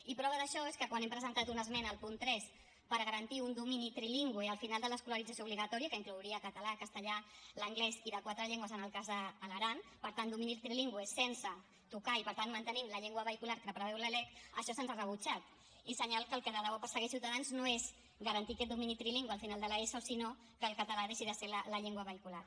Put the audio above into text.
i prova d’això és que quan hem presentat una esmena al punt tres per garantir un domini trilingüe al final de l’escolarització obligatòria que inclouria català castellà l’anglès i de quatre llengües en el cas de l’aran per tant domini trilingüe sense tocar i per tant mantenint la llengua vehicular que preveu la lec això se’ns ha rebutjat i senyal que el que de debò persegueix ciutadans no és garantir aquest domini trilingüe al final de l’eso sinó que el català deixi de ser la llengua vehicular